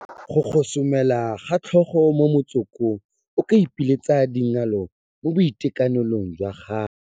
Go gosomela ka tlhogo mo motsokong o ka ipiletsa dingalo mo boitekanelong jwa gago